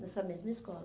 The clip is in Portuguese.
Nessa mesma escola.